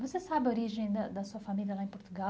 Você sabe a origem da da sua família lá em Portugal?